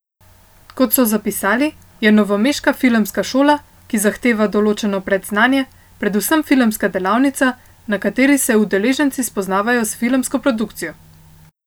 Kot so zapisali, je Novomeška filmska šola, ki zahteva določeno predznanje, predvsem filmska delavnica, na kateri se udeleženci spoznavajo s filmsko produkcijo.